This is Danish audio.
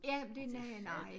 Ja men det næ nej